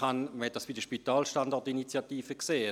Man hat es bei der «Spitalstandort-Initiative» gesehen: